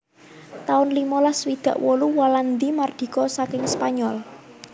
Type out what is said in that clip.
taun limolas swidak wolu Walandi mardika saking Spanyol